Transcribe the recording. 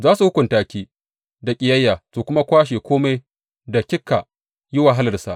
Za su hukunta ki da ƙiyayya su kuma kwashe kome da kika yi wahalarsa.